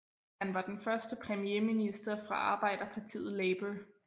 Han var den første premierminister fra arbejderpartiet Labour